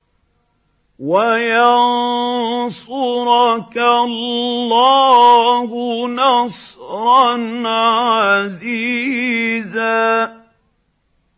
وَيَنصُرَكَ اللَّهُ نَصْرًا عَزِيزًا